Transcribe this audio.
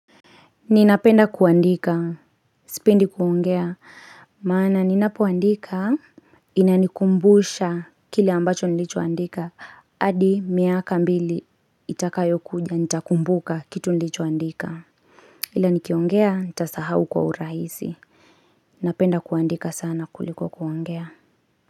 Ninapenda kuandika, sipendi kuongea, maana ninapoandika inanikumbusha kile ambacho nilichoandika adi miaka mbili itakayokuja ntakumbuka kitu nilichoandika. Ila nikiongea, nitasahau kwa urahisi. Napenda kuandika sana kuliko kuongea.